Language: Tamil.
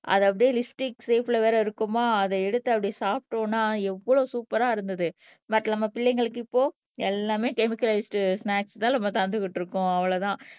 அதை அப்படியே லிப்ஸ்டிக் ஷாப்ல வேற இருக்குமா அதை எடுத்து அப்படி சாப்பிட்டோம்னா எவ்வளவு சூப்பர்ரா இருந்தது பட் நம்ம பிள்ளைங்களுக்கு இப்போ எல்லாமே கெமிக்காலிஸிட் ஸ்னாக்ஸ் தான் நம்ம தந்துகிட்டு இருக்கோம் அவ்வளவுதான்